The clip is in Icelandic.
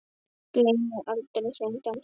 Gleymi aldrei þeim dansi.